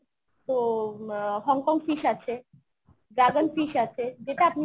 তো um Hong Kong fish আছে। dragon fish আছে যেটা আপনি